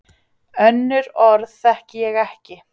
Önnur orð þekki ég ekki.